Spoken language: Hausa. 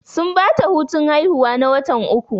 Sun bata hutun haihuwa na watan uku